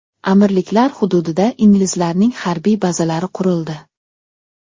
Amirliklar hududida inglizlarning harbiy bazalari qurildi.